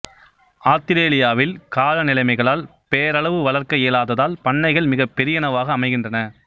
ஆத்திரேலியாவில் காலநிலைமைகளால் பேரளவு வளர்க்க இயலாததால் பண்ணைகள் மிகப் பெரியனவாக அமைகின்றன